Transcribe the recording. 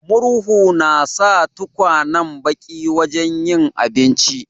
Murhu na sa tukwanen baki wajen yin abinci.